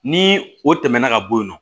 Ni o tɛmɛna ka bɔ yen nɔ